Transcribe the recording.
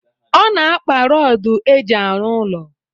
Ọ na-akpa rọdụ eji arụ ụlọ